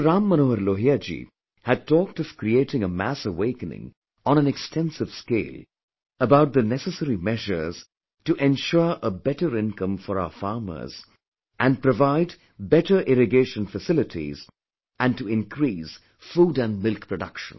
Ram Manohar Lal ji had talked of creating a mass awakening on an extensive scale about the necessary measures to ensure a better income for our farmers and provide better irrigation facilities and to increase food and milk production